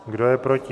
Kdo je proti?